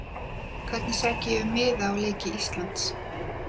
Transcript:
Hvernig sæki ég um miða á leiki Íslands?